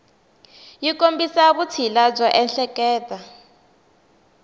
yi kombisa vutshila byo ehleketa